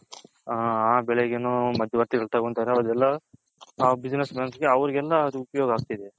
ಆ ಬೆಳೆಗುನು ಮಧ್ಯವರ್ತಿ ಗಳು ತಗೊಂತಾರೆ ಅದೆಲ್ಲ ಆ Business Man ಗೆ ಅವೆರಿಗೆಲ್ಲ ಉಪುಯೋಗ ಆಗ್ತಿದೆ.